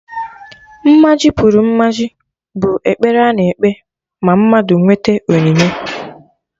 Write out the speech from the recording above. "Mmaji pụrụ Mmaji" bụ ekpere a na-ekpe ma mmadụ nwete onyinye